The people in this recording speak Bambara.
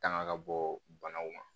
Tanga ka bɔ banaw ma